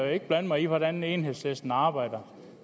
ikke blande mig i hvordan enhedslisten arbejder